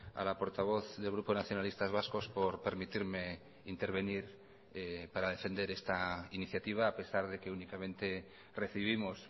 a la portavoz del grupo nacionalistas vascos por permitirme intervenir para defender esta iniciativa a pesar de que únicamente recibimos